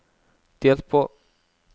delt på